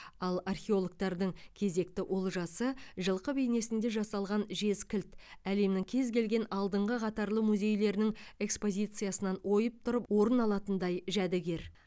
ал археологтардың кезекті олжасы жылқы бейнесінде жасалған жез кілт әлемнің кез келген алдыңғы қатарлы музейлерінің экспозициясынан ойып тұрып орын алатындай жәдігер